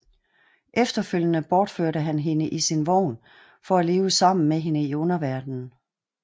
Efterfølgende bortførte han hende i sin vogn for at leve sammen med hende i underverdenen